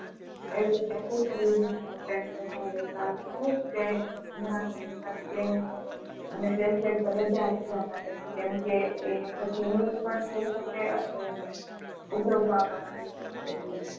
એવી રીતે Accessories વધારે ચાલે અને ગમે ત્યારે એ તરીકે ઉપરની વાત કરી શકીયે.